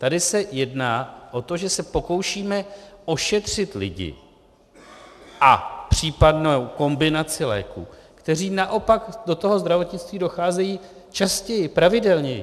Tady se jedná o to, že se pokoušíme ošetřit lidi - a případnou kombinaci léků - kteří naopak do toho zdravotnictví docházejí častěji, pravidelněji.